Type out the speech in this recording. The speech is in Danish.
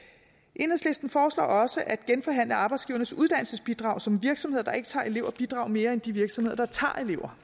enhedslisten foreslår også at genforhandle arbejdsgivernes uddannelsesbidrag så virksomheder der ikke tager elever bidrager mere end de virksomheder der tager elever